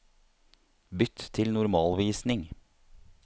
Bytt til normalvisning